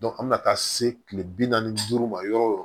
an bɛ na taa se kile bi naani ni duuru ma yɔrɔ o yɔrɔ